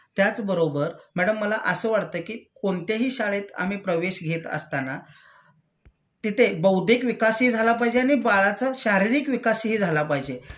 त्याचबरोबर मॅडम मला असं वाटत कि कोणत्याही शाळेत आम्ही प्रवेश घेत असताना तिथे बौद्धिक विकासही झाला पाहिजे आणि बाळाचा शारीरिक विकासही झाला पाहिजे.